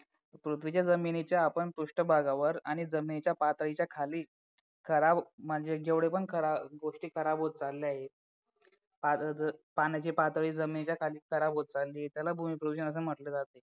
पृथ्वीच्या जमिनीच्या आपण पृष्ठभागावर आणि जमिनीच्या पातळीच्या खाली खराब म्हणजे जेवढे पण खराब गोष्टी खराब होत चालले आहे आता जर पाण्याची पातळी जमिनीच्या खाली खराब होत चालली त्याला भूमी प्रदूषण असं म्हटलं जाते